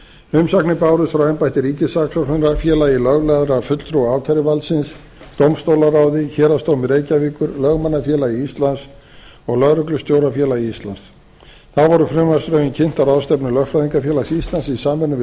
umsagnir bárust aðra embætti ríkissaksóknara félagi löglærðra fulltrúa ákæruvaldsins dómstólaráði héraðsdómi reykjavíkur lögmannafélagi íslands og lögreglustjórafélagi íslands þá voru frumvarpsdrögin kynnt á ráðstefnu lögfræðingafélags íslands í samvinnu við